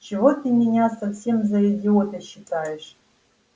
чего ты меня совсем за идиота считаешь